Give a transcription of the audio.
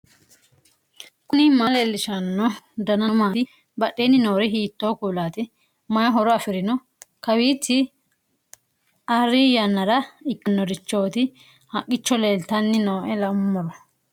knuni maa leellishanno ? danano maati ? badheenni noori hiitto kuulaati ? mayi horo afirino ? kawiichi arri yannara ikkannorichooti haqqicho leeltanni nooe laummoro